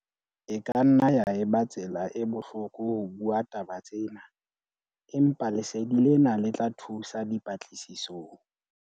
E ka nna ya eba tsela e bohloko ho bua taba tsena, empa lesedi lena le tla thusa dipatlisisong.